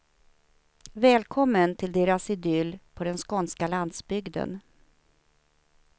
Välkommen till deras idyll på den skånska landsbygden.